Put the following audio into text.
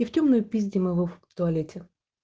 и втёмную пиздим его в туалете